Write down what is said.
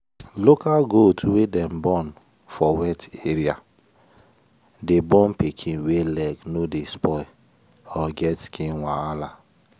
local goat wey dem born for wet area dey born pikin wey leg no dey spoil or get skin wahala.